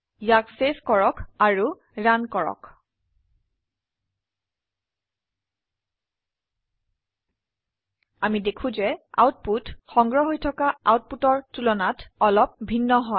ইয়াক চেভ কৰক আৰু ৰান কৰক আমি দেখো যে আউটপুট সংগ্ৰহ হৈ থকা আউটপুটৰ তুলনাত অলপ ভিন্ন হয়